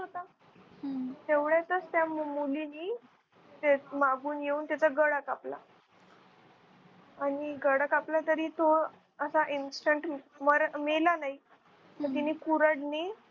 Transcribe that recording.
तेवढ्यातच त्या मुलीनी ते मागून येऊन तिचा गळा कापला आणि गळा कापला तरी तो असा instant मेला नाही मग तिने कुऱ्हाडीने